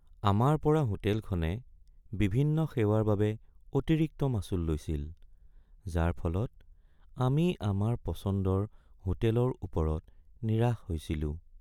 আমাৰ পৰা হোটেলখনে বিভিন্ন সেৱাৰ বাবে অতিৰিক্ত মাচুল লৈছিল যাৰ ফলত আমি আমাৰ পচন্দৰ হোটেলৰ ওপৰত নিৰাশ হৈছিলোঁ।